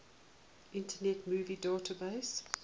internet movie database